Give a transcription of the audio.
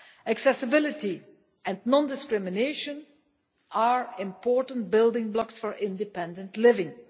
Accessibility and non discrimination are important building blocks for independent living.